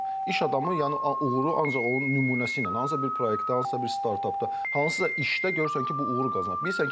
İş adamı yəni uğuru ancaq onun nümunəsi ilə, hansısa bir proyektdə, hansısa bir startapda, hansısa işdə görürsən ki, bu uğuru qazanır.